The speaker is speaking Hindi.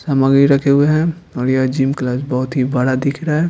सामग्री रखे हुए हैं और यह जिम क्लास बहुत ही बड़ा दिख रहा है।